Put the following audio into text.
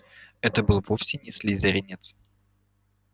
это был вовсе не слизеринец